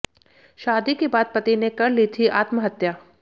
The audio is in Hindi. शादी के बाद पति ने कर ली थी आत्महत्या